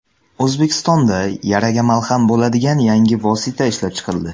O‘zbekistonda yaraga malham bo‘ladigan yangi vosita ishlab chiqildi.